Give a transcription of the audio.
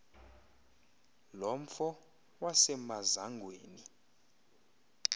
lo mfo wasemazangweni